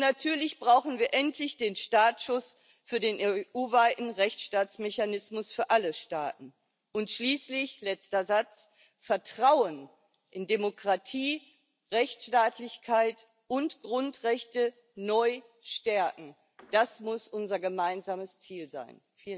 Natürlich brauchen wir endlich den Startschuss für den EU weiten Rechtsstaatsmechanismus für alle Staaten und schließlich, letzter Satz Vertrauen in Demokratie, Rechtsstaatlichkeit und Grundrechte neu stärken das muss unser gemeinsames Ziel sein.